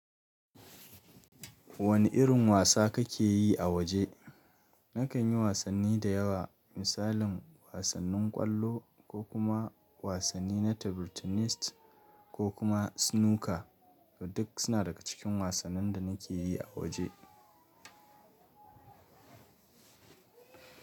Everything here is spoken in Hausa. Wani irin wasa kake yi a waje? Nakan yi wasanni da yawa, misalin wasannin ƙwallo ko kuma wasanni na table tennis ko kuma snooker duk suna daga cikin wasannin da nake yi a waje.